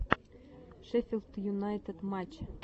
шеффилд юнайтед матч